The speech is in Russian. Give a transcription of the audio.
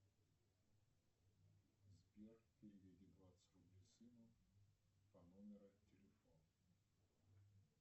сбер переведи двадцать рублей сыну по номеру телефона